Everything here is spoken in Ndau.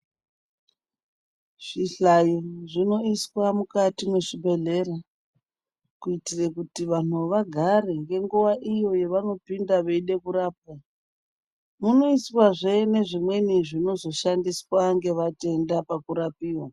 Zvihlayo zvinoiswa mukati mwezvibhedhlera kuitira kuti vantu vagare ngenguwa iyo yavanopinda veida kurapwa munoiswazve nezvimweni zvinozoshandiswa ngevatenda pakurapiwa.